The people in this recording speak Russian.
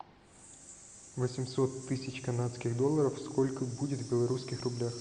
восемьсот тысяч канадских долларов сколько будет в белорусских рублях